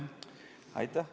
Aitäh!